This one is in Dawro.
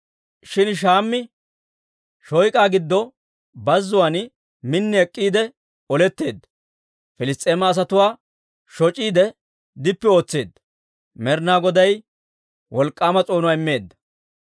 Shin Shammi shoyk'aw giddo bazzuwaan min ek'k'iide oletteedda. Piliss's'eema asatuwaa shoc'iide dippi ootseedda. Med'inaa Goday wolk'k'aama s'oonuwaa immeedda.